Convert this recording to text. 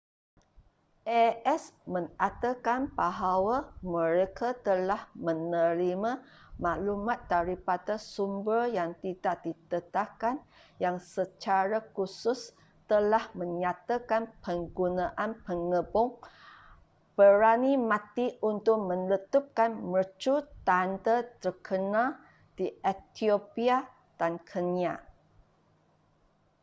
a.s. mengatakan bahawa mereka telah menerima maklumat daripada sumber yang tidak didedahkan yang secara khusus telah menyatakan penggunaan pengebom berani mati untuk meletupkan mercu tanda terkenal di ethiopia dan kenya